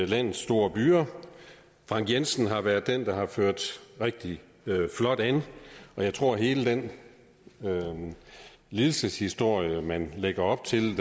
landets store byer frank jensen har været den der har ført rigtig flot an jeg tror at hele den lidelseshistorie man lægger op til